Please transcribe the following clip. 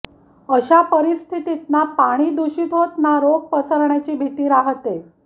अशा परिस्थितीत ना पाणी दूषित होत ना रोग पसरण्याची भीती राहते